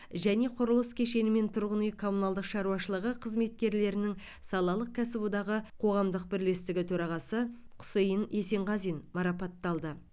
және құрылыс кешені мен тұрғын үй коммуналдық шаруашылығы қызметкерлерінің салалық кәсіподағы қоғамдық бірлестігі төрағасы құсейін есенғазин марапатталды